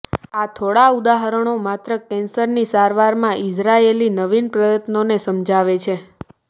આ થોડા ઉદાહરણો માત્ર કેન્સરની સારવારમાં ઇઝરાયેલી નવીન પ્રયત્નોને સમજાવે છે